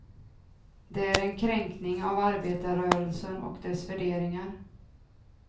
Det är en kränkning av arbetarrörelsen och dess värderingar.